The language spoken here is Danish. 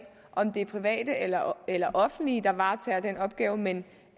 om det er private eller eller offentlige der varetager den opgave men